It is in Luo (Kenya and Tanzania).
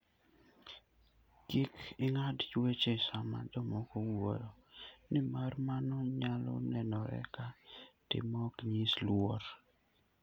Kik ing'ad weche sama jomoko wuoyo, nimar mano nyalo nenore ka tim maok nyis luor.